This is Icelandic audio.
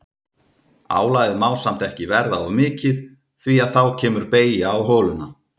Álagið má samt ekki verða of mikið því að þá kemur beygja á holuna.